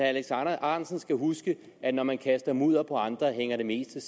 alex ahrendtsen skal huske at når man kaster mudder på andre hænger det meste